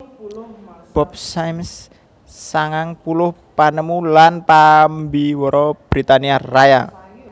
Bob Symes sangang puluh panemu lan pambiwara Britania Raya